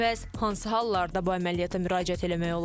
Bəs hansı hallarda bu əməliyyata müraciət eləmək olar?